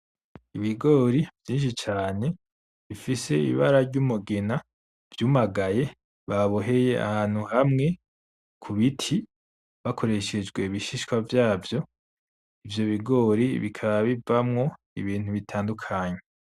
Ibigori vyinshi cane bifise ibara bifise ibara ry'umugina vyumagaye, baboheye ahantu hamwe ku biti bakoresheje ibishishwa vyavyo. Ivyo bigori bikaba bivamwo ibintu bitandukanye.